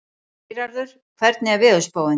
Geirarður, hvernig er veðurspáin?